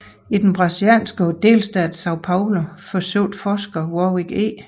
I den brasilianske delstat São Paulo forsøgte forskeren Warwick E